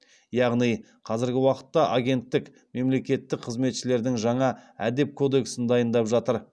яғни қазіргі уақытта агенттік мемлекеттік қызметшілердің жаңа әдеп кодексін дайындап жатыр